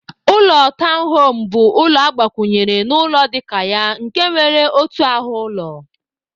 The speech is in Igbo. Ụlọ tọwn home bu ụlọ nke agbakwunye na ụlọ dika ya nke nwere otu ahu ụlọ.